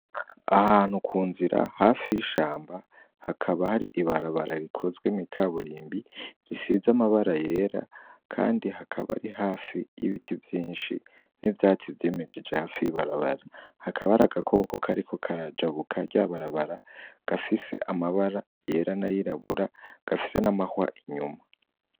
Ahantu ku nzira hafi y'ishamba hakaba hari ibarabara rikozwe mw'ikaburimbi risize amabara yera kandi hakaba ari hafi y'ibiti vyinshi n'ivyatsi vyimejeje hafi y'ibarabara .Hakaba har'agakoko kariko karajabuka rya barabara gafise amabara yera n'ayirabura gafise n'amahwa inyuma.